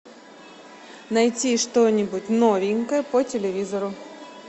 найти что нибудь новенькое по телевизору